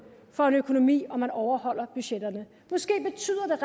for en økonomi om man overholder budgetterne måske betyder